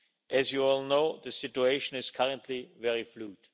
As you all know, the situation is currently very fluid.